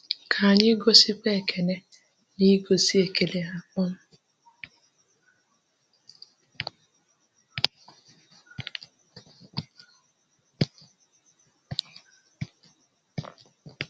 Ka anyị gosikwa Ekene n’igosi ekele ha.